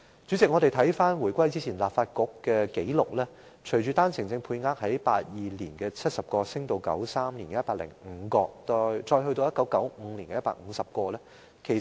主席，翻看回歸前的立法局紀錄，單程證配額於1982年為70名，於1993年增至105名，再於1995年增加至150名。